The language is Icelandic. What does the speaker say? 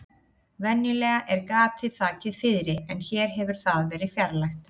Venjulega er gatið þakið fiðri en hér hefur það verið fjarlægt.